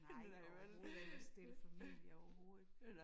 Nej overhovedet ikke og stifte familie overhovedet